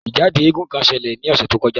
Ijade éégún kan ṣẹlẹ ni ọsẹ to kọja.